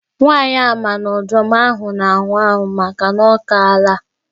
Nwaanyị a ma na ọdụm ahụ na-anwụ anwụ makana ọ kaala.